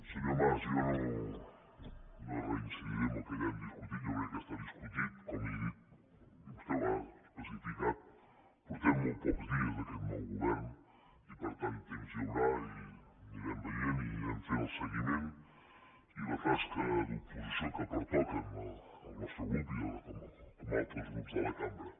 senyor mas jo no reincidiré en el que ja hem discutit jo crec que està discutit com li he dit i vostè ho ha especificat portem molts pocs dies d’aquest nou govern i per tant temps hi haurà i anirem veient i anirem fent el seguiment i la tasca d’oposició que pertoca al nostre grup i com a altres grups de la cambra